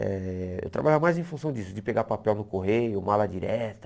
Eh eu trabalhava mais em função disso, de pegar papel no correio, mala direta.